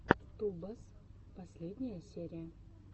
тубас последняя серия